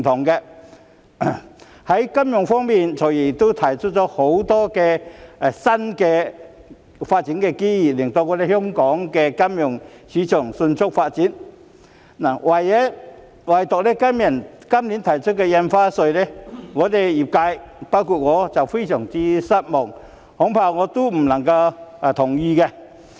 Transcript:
在金融方面，"財爺"亦提出了許多新的發展機遇，令香港的金融市場迅速發展，唯獨今年提出增加股票交易印花稅，讓業界——包括我在內——感到非常失望，恐怕我不能同意。